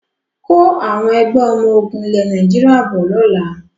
Kó Àwọn Ẹgbẹ́ ọmọ ogún ilẹ̀ Nàìjíríà bọ̀ lọ́la!